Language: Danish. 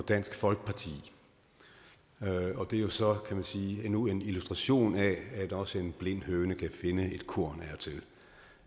og dansk folkeparti det er jo så kan man sige endnu en illustration af at også en blind høne kan finde et korn